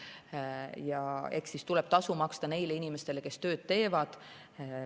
Ja eks tuleb tasu maksta neile inimestele, kes tööd teevad.